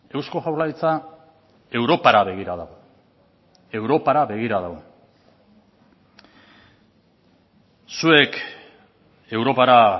eusko jaurlaritza europara begira dago europara begira dago zuek europara